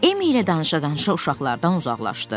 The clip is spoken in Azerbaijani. Emmi ilə danışa-danışa uşaqlardan uzaqlaşdı.